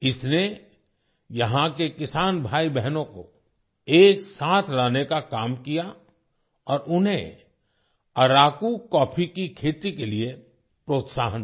इसने यहाँ के किसान भाई बहनों को एक साथ लाने का काम किया और उन्हें अराकू कॉफी की खेती के लिए प्रोत्साहन दिया